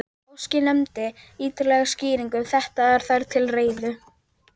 Óski nefndin ýtarlegri skýringa um þetta, eru þær til reiðu.